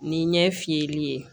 Ni ɲɛ fiyɛli ye